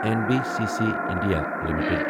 N B C C India limited